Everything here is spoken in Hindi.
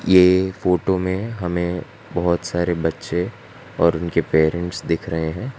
ये फोटो में हमें बहोत सारे बच्चे और उनके पेरेंट्स दिख रहे हैं।